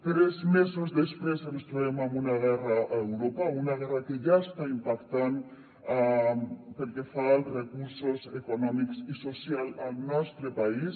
tres mesos després ens trobem amb una guerra a europa una guerra que ja està impactant pel que fa als recursos econòmics i socials al nostre país